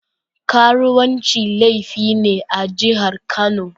Karuwanci laifi ne a jihar Kano.